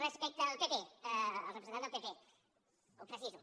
respecte al pp al representant del pp ho preciso